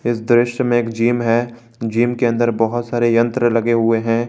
इस दृश्य में एक जिम है जिम के अंदर बहुत सारे यंत्र लगे हुए हैं।